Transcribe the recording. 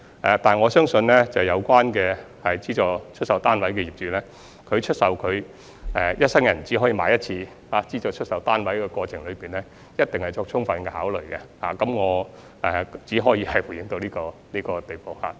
不過，我相信有關的資助出售單位業主，在出售一生人只可以購買一次的資助出售單位的過程中，一定已作充分考慮，我只可以回應到這個地步。